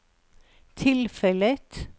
tilfellet